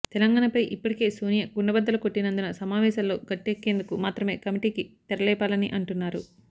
తెలంగాణపై ఇప్పటికే సోనియా కుండబద్దలు కొట్టినందున సమావేశాల్లో గట్టెక్కేందుకు మాత్రమే కమిటీకి తెరలేపారని అంటున్నారు